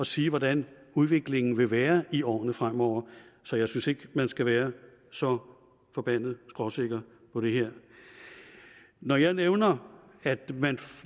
sige hvordan udviklingen vil være i årene fremover så jeg synes ikke man skal være så forbandet skråsikker på det her når jeg nævner at